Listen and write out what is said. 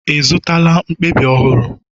I zụtala mkpabi ọhụrụ?